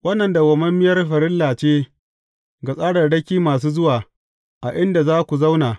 Wannan dawwammamiyar farilla ce ga tsararraki masu zuwa, a inda za ku zauna.